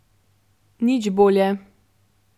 Nič bolje.